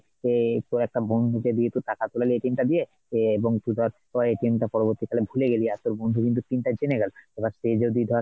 যে তোর একটা বন্ধুকে দিয়ে তুই টাকা তোলালি টা দিয়ে সে বন্ধু ধর তোর টা পরবর্তীকালে ভুলে গেলি আর তোর বন্ধু কিন্তু pin টা জেনে গেলো এবার সে যদি ধর,